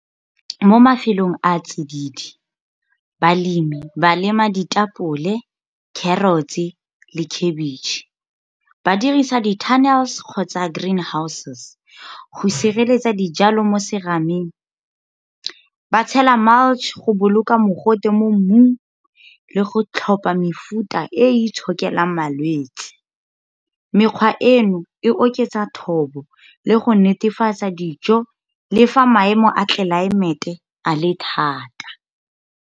Mo mafelong a tsididi, balemi ba lema ditapole, carrots, le cabbage. Ba dirisa di-tunnels kgotsa greenhouses, go sireletsa dijalo mo serameng. Ba tshela mulch go boloka mogote mo mmung, le go tlhopha mefuta e itshokelang malwetse. Mekgwa eno, e oketsa thobo le go netefatsa dijo, le fa maemo a tlelaemete a le thata.